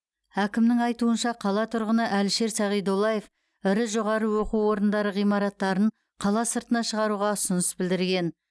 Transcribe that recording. әкімнің айтуынша қала тұрғыны әлішер сағидоллаев ірі жоғары оқу орындары ғимараттарын қала сыртына шығаруға ұсыныс білдірген